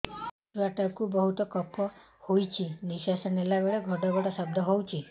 ଛୁଆ ଟା କୁ ବହୁତ କଫ ହୋଇଛି ନିଶ୍ୱାସ ନେଲା ବେଳେ ଘଡ ଘଡ ଶବ୍ଦ ହଉଛି